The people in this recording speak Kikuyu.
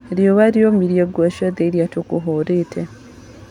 Riũa rĩũmirie nguo ciothe irie tũkũhũrĩte.